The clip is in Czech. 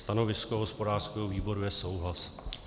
Stanovisko hospodářského výboru je souhlas.